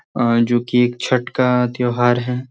अ जो कि एक छठ का त्यौहार है।